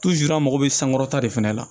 an mago bɛ sankɔrɔta de fɛnɛ la